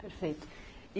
Perfeito.